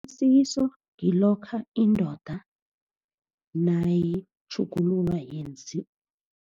Umsikiso ngilokha indoda nayitjhugulula